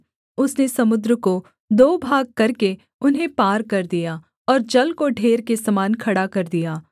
उसने समुद्र को दो भाग करके उन्हें पार कर दिया और जल को ढेर के समान खड़ा कर दिया